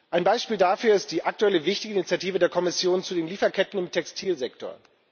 Ein Beispiel dafür ist die aktuelle wichtige Initiative der Kommission zu den Lieferketten im Textilsektor.